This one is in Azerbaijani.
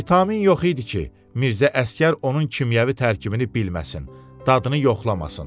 Vitamin yox idi ki, Mirzə Əsgər onun kimyəvi tərkibini bilməsin, dadını yoxlamasın.